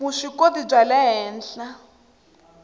vuswikoti bya le henhla